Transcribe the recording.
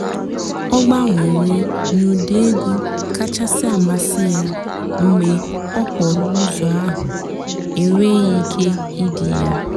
ọ́ gbànwèré n'ụ́dị́ ègwú kàchàsị́ àmásị́ yá mg̀bé òkpòró ụ́zọ́ àhú́ ènwéghị́ íké ìdì yá